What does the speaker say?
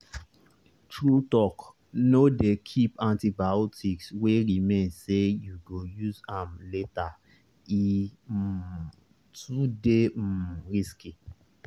true talkno dey keep antibiotics wey remain say you go use am latere um too dey um risky